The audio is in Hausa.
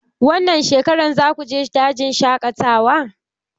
Wannan shekarar zaku je dajin shaƙatawa?